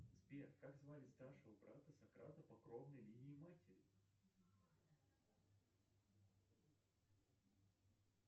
сбер как звали старшего брата сократа по кровной линии матери